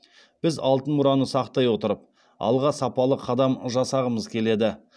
біз алтын мұраны сақтай отырып алға сапалы қадам жасағымыз келеді